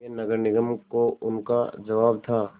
यह नगर निगम को उनका जवाब था